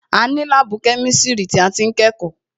A ní kíláàsì ni láàbù kẹ́misiri tí a ti ń kẹ́kọ̀ọ́